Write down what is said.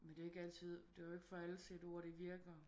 Men det er ikke altid det er jo ikke for alle CD-ORD det virker